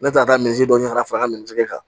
Ne taara ka taa misi dɔ ɲini ka fara n ka mincɛn kan